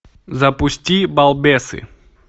запусти балбесы